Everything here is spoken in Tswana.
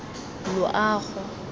loago